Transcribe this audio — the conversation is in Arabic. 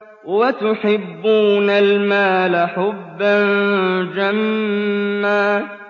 وَتُحِبُّونَ الْمَالَ حُبًّا جَمًّا